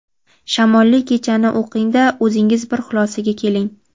"Shamolli kecha"ni o‘qing-da, o‘zingiz bir xulosaga keling!.